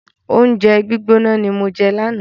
Oúnjẹ gbígbóná ni mo jẹ lánàá.